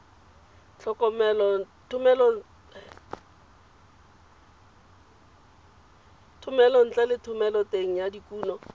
thomelontle le thomeloteng ya dikuno